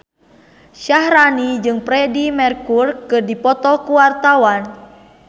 Syaharani jeung Freedie Mercury keur dipoto ku wartawan